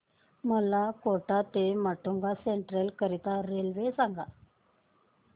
मला कोटा ते माटुंगा सेंट्रल करीता रेल्वे सांगा